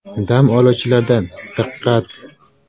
Dam oluvchilardan “Diqqat!